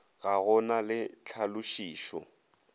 ga go na le tlhalošišo